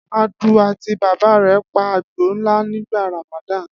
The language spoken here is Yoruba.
Adu àti bàbá rẹ̀ pa àgbò ńlá nígbà Ramadan?